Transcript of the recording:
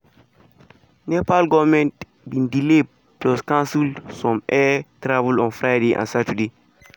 nepal goment bin delay plus cancel some air travel on friday and saturday.